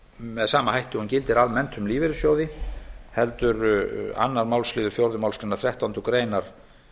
með sama hætti og hún gildir almennt um lífeyrissjóði heldur önnur málsl fjórðu málsgreinar þrettándu greinar